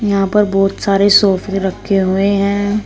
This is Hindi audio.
यहां पर बहोत सारे सोफे रखे हुए हैं।